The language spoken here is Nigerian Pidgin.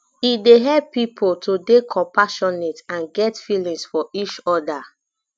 e dey help pipo to dey compassionate and get feelings for each oda